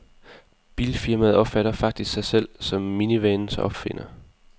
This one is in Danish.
Bilfirmaet opfatter faktisk sig selv om minivanens opfinder.